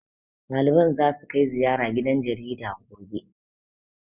Ɗaliban zasu kai ziyara gidan jaridar, gobe. be